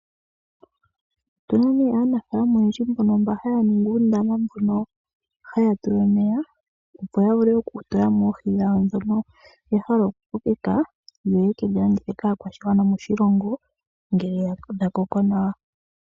Opuna aanafaalama oyendji mbono haya ningi uundama mono haya tula omeya opo ya vule okutula mo oohi dhawo dhono yahala oku kokeka, noyeke dhilandithe kaakwashigwana moshilongo ngele dhakoko nawa.